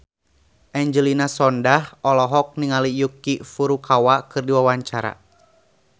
Angelina Sondakh olohok ningali Yuki Furukawa keur diwawancara